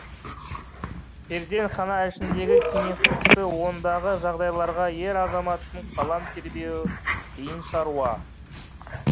перзентхана ішіндегі кеңістікті ондағы жағдайларға ер азаматтың қалам тербеуі қиын шаруа